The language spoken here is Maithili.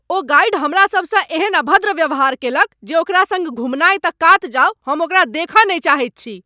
ओ गाइड हमरासभसँ एहन अभद्र व्यवहार कयलक जे ओकरा सङ्ग घुमनाय तऽ कात जाओ, हम ओकरा देखय नहि चाहैत छी।